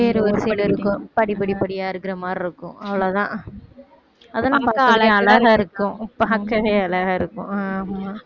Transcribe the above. ஏறுவரிசையில இருக்கும் படிப்படிபடியா இருக்கற மாதிரி இருக்கும் அவ்வளவுதான் அதெல்லாம் பாக்க அழகாயிருக்கும் பாக்கவே அழகாயிருக்கும்